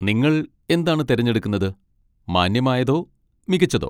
നിങ്ങൾ എന്താണ് തിരഞ്ഞെടുക്കുന്നത്, മാന്യമായതോ മികച്ചതോ?